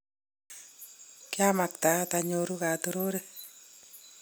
kiamaktaat ayoruu katorore